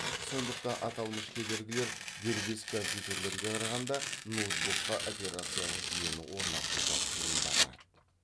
сондықтан аталмыш кедергілер дербес компьютерлерге қарағанда ноутбукка операциялық жүйені орнатуды қиындатады